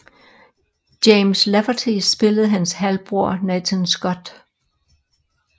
James Lafferty spillede hans halvbror Nathan Scott